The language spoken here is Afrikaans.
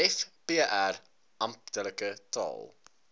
vpr amptelike taal